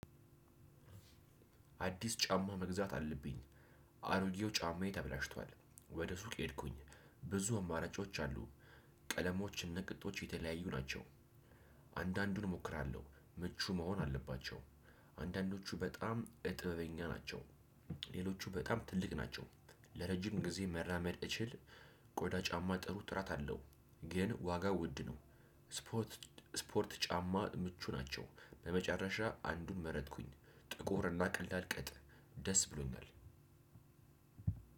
አዲስ ጫማ መግዛት አለብኝ። አሮጌው ጫማዬ ተበላሽቷል ወደ ሱቅ ሄድኩኝ ብዙ አማራጮች አሉ። ቀለሞች እና ቅጦች የተለያዩ ናቸው። አንዳንዱን እሞክራለሁ ምቹ መሆን አለባቸው። አንዳንዶቹ በጣም እጥበበኛ ናቸው። ሌሎቹ በጣም ትልቅ ናቸው። ለረጅም ጊዜ መራመድ እችል። ቆዳ ጫማ ጥሩ ጥራት አለው። ግን ዋጋ ውድ ነው። ስፖርት ስፖርት ጫማ ምቹ ናቸው። በመጨረሻ አንዱን መረጥኩኝ። ጥቁርና ቀላል ቀጥ ደስ ብሎኛል።